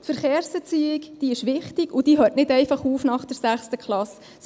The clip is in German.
Denn die Verkehrserziehung ist wichtig, und sie hört nicht einfach nach der 6. Klasse auf.